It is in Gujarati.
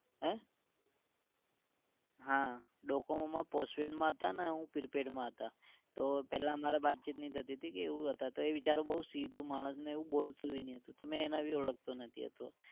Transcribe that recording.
હે? હા Docomo માં postpaid માં હતા અને હું prepaid માં હતા. તો પહેલા અમારે બાતચિત નહિ થતી હતી કે એવું હતા તો એ બેચરો બોવ સીધું માણસને એવું બોલતું भी ના હતું. તો મે એને भी ઓળખતો નથી.